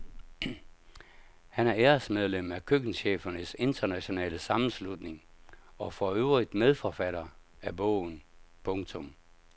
Han er æresmedlem af køkkenchefernes internationale sammenslutning og for øvrigt medforfatter af bogen. punktum